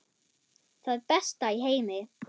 Það besta í heimi.